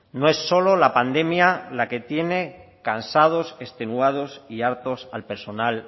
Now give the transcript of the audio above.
no es solo la pandemia la que tiene cansados extenuados y hartos al personal